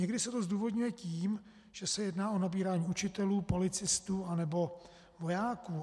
Někdy se to zdůvodňuje tím, že se jedná o nabírání učitelů, policistů nebo vojáků.